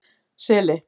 Seli